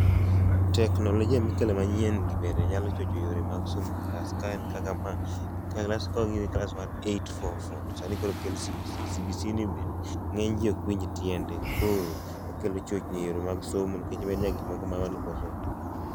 Teknolojia mikelo manyien gi bende nyalo chocho yore mag somo e class kaen kaka ma ka class mar 8-4-4 to sani koro okel CBC, CBC ni bende ng’eny ji okwinj tiende koro okelo chochni e yore mag somo nikech gikmoko ma wan neok wasomo.